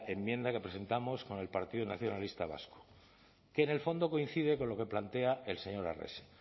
enmienda que presentamos con el partido nacionalista vasco que en el fondo coincide con lo que plantea el señor arrese